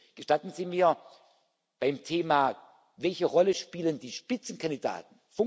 Gestatten Sie mir Beim Thema Welche Rolle spielen die Spitzenkandidaten?